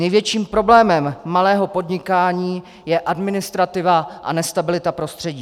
Největším problémem malého podnikání je administrativa a nestabilita prostředí.